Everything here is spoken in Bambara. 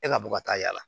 E ka bɔ ka taa yaala